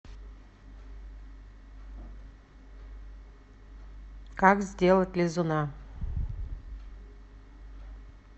как сделать лизуна